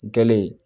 Gele